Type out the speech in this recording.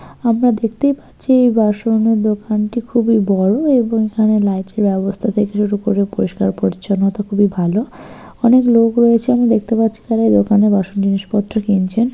আমরা দেখতেই পাচ্ছি এই বাসনের দোকানটি খুবই বড় এবং এখানে লাইট -এর ব্যবস্থা থেকে শুরু করে পরিষ্কার পরিচ্ছন্নতা খুবই ভালো অনেক লোক রয়েছে আমি দেখতে পাচ্ছি যারা এই দোকানে বাসন জিনিস পত্র কিনছেন।